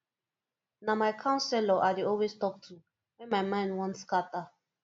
na my counselor i dey always talk to wen my mind wan scatter